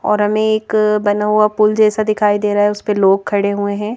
और हमें एक बना हुआ पुल जैसा दिखाई दे रहा है उस पर लोग खड़े हुए हैं.